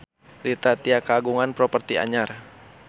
Rita Tila kagungan properti anyar